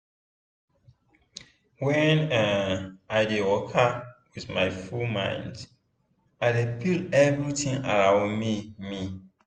when um i dey waka with my full mind i dey feel everitin around me. me.